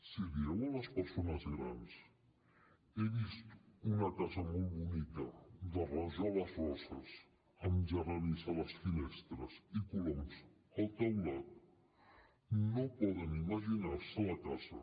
si dieu a les persones grans he vist una casa molt bonica de rajoles roses amb geranis a les finestres i coloms al teulat no poden imaginar se la casa